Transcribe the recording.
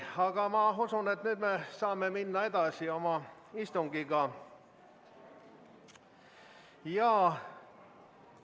Aga ma usun, et nüüd me saame oma istungiga edasi minna.